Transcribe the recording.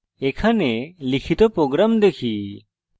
এখানে লিখিত প্রোগ্রাম দেখি